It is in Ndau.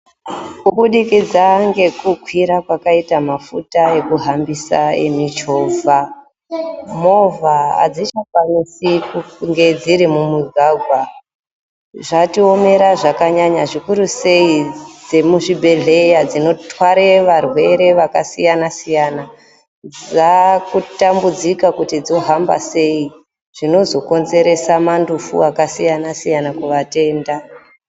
Kubudikidza ngekukwira kwekaita mafuta ekuhambisa emichovha, movha adzichakwanisi kunge dziri mumugwagwa, zvatiomera zvakanyanya, zvikuru sei dzeemuzvibhahlera dzinotware varwere vakasiyanasiyana dzakutambudzika kuti dzohamba sei zvinozo konzerese mandufu akasiyanasiyana kuvatenda